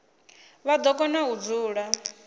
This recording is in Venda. vha do kona u dzula